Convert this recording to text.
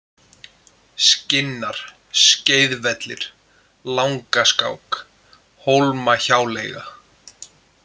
Skinnar, Skeiðvellir, Langaskák, Hólmahjáleiga